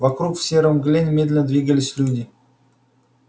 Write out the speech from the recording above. вокруг в серой мгле медленно двигались люди